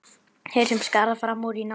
Þeir sem skara fram úr í námi.